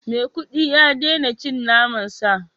Maikudi ya daina cin naman sa